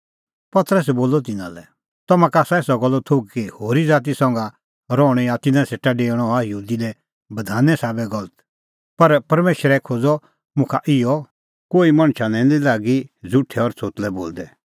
पतरसै बोलअ तिन्नां लै तम्हां का आसा एसा गल्लो थोघ कि होरी ज़ाती संघा रहणअ या तिन्नां सेटा डेऊणअ हआ यहूदी लै बधाने साबै गलत पर परमेशरै खोज़अ मुखा इहअ कोही मणछा लै निं लागी ज़ुठै और छ़ोतलै बोलदै